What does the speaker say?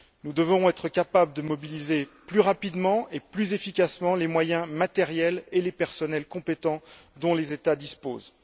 Nous devons être capables de mobiliser plus rapidement et plus efficacement les moyens matériels et les personnels compétents dont les États disposent.